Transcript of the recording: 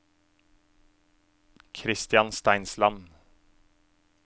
Christian Steinsland